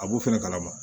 A b'o fɛnɛ kalama